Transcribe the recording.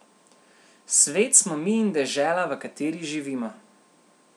Svet smo mi in dežela, v kateri živimo.